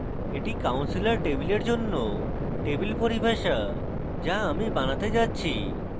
এটি counselor table জন্য table পরিভাষা যা আমি বানাতে যাচ্ছি